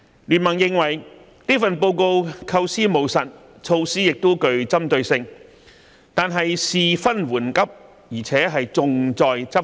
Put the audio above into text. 經民聯認為這份報告構思務實，措施亦具針對性，但事分緩急，而且重在執行。